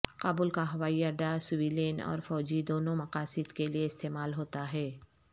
کابل کا ہوائی اڈہ سویلین اور فوجی دونوں مقاصد کے لیے استعمال ہوتا ہے